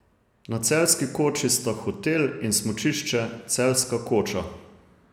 Na Celjski koči sta hotel in smučišče Celjska koča.